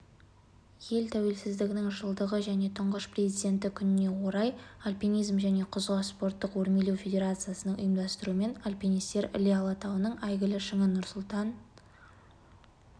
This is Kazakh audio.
ел тәуелсіздігінің жылдығы және тұңғыш президенті күніне орай альпинизм және құзға спорттық өрмелеу федерациясының ұйымдастыруымен альпинистер іле алатауының әйгілі шыңы нұрсұлтан